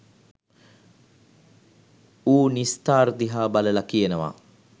ඌ නිස්තාර් දිහා බලල කියනවා